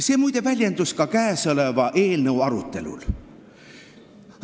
See, muide, väljendus ka kõnealuse eelnõu arutelul.